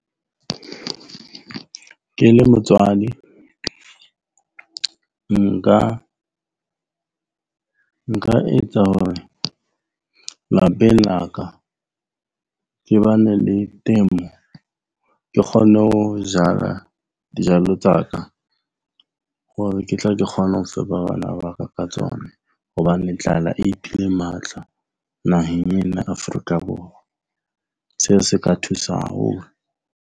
Ke le motswadi, nka etsa hore lapeng la ka ke bane le temo. Ke kgone ho jala dijalo tsa ka hore ke tle ke kgone ho fepa bana ba ka ka tsona. Hobane tlala iphile matla naheng ena ya Afrika Borwa. Seo se ka thusa haholo.